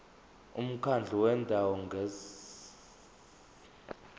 umkhandlu wendawo ngerss